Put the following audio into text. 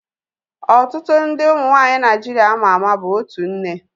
Ọtụtụ ndị ụmụ nwaanyị Naịjiria ama ama bụ otu nne